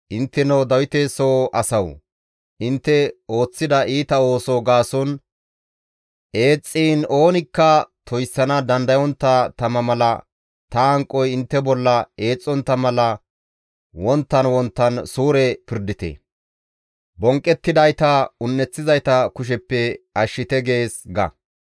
Intteno Dawite soo asawu! Intte ooththida iita ooso gaason eexxiin oonikka toyssana dandayontta tama mala ta hanqoy intte bolla eexxontta mala wonttan wonttan suure pirdite; bonqqettidayta un7eththizayta kusheppe ashshite› gees ga.